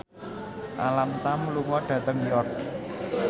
Alam Tam lunga dhateng York